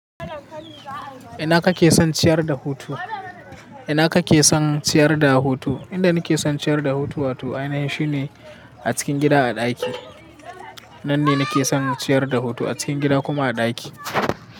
Ina kake son ciyar da hutu? Ina kake son ciyar da hutu? Inda nake son ciyar da hutu wato ainihin shi ne a cikin gida a ɗaki. Nan ne nake son ciyar da hutu a cikin gida kuma a ɗaki.